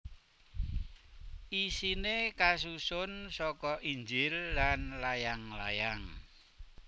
Isiné kasusun saka Injil lan layang layang